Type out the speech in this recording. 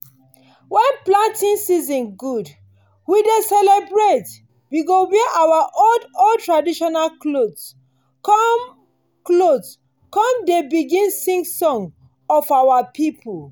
when planting season good we dey celebrate. we go wear our old-old traditional cloth come cloth come dey bin sing songs of our people.